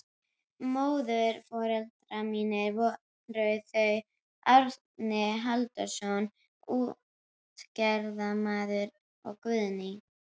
Móðurforeldrar mínir voru þau Árni Halldórsson útgerðarmaður og Guðný